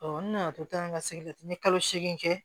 n nana to tan ka segin n ye kalo seegin kɛ